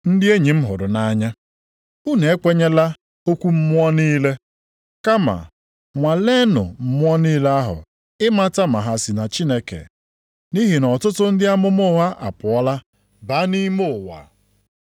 Ndị enyi m hụrụ nʼanya, unu ekwenyela okwu mmụọ niile, kama nwaleenụ mmụọ niile ahụ i mata ma ha si na Chineke, nʼihi na ọtụtụ ndị amụma ụgha apụọla baa nʼime ụwa.